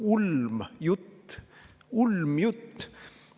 Ulmjutt!